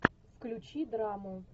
включи драму